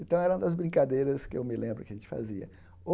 Então, era uma das brincadeiras que eu me lembro que a gente fazia.